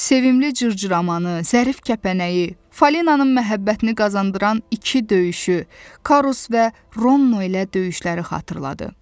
Sevimli cırcıramanı, zərif kəpənəyi, Falinanın məhəbbətini qazandıran iki döyüşü, Karus və Ronnu ilə döyüşləri xatırladı.